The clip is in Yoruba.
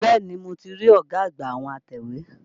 Bẹ́ẹ̀ni, mo ti rí ọ̀gá àgbà àwọn atẹ̀wé.